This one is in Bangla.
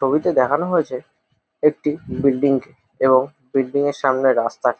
ছবিতে দেখানো হয়েছে একটি বিল্ডিং -কে এবং বিল্ডিং -এর সামনের রাস্তা।